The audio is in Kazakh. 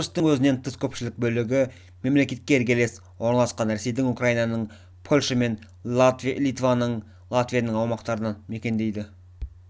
беларусьтің өзінен тыс көпшілік бөлігі мемлекетке іргелес орналасқан ресейдің украинаның польша мен литваның латвияның аумақтарын мекендейді